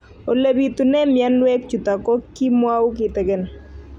Ole pitune mionwek chutok ko kimwau kitig'�n